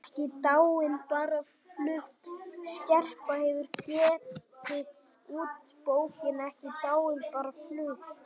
EKKI DÁIN BARA FLUTT Skerpla hefur gefið út bókina Ekki dáin- bara flutt.